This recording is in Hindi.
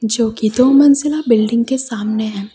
जो कि दो मंजिला बिल्डिंग के सामने है।